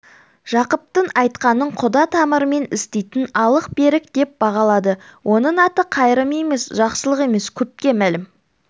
жақыптың айтқанын құда тамырмен істейтін алық-берік деп бағалады оның аты қайрым емес жақсылық емес көпке мәлім